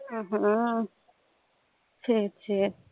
ஆஹ் ஆஹ் சரி சரி